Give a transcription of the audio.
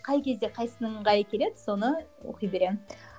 қай кезде қайсысының ыңғайы келеді соны оқи беремін